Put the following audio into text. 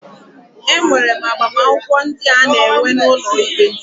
E nwere agbamakwụkwọ ndị a na-enwe n'ụlọ ikpe.